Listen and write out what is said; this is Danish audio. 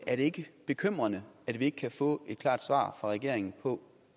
er det ikke bekymrende at vi ikke kan få et klart svar fra regeringen på